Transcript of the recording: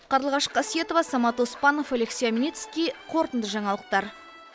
қарлығаш қасиетова самат оспанов алексей омельницкий қорытынды жаңалықтар